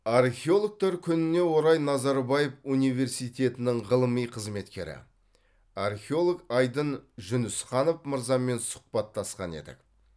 археологтар күніне орай назарбаев университетінің ғылыми қызметкері археолог айдын жүнісханов мырзамен сұхбаттасқан едік